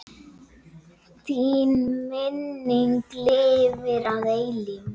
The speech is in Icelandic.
Þín minning lifir að eilífu.